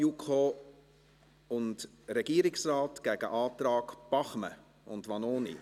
JuKo und Regierungsrat gegen Antrag Bachmann und Vanoni.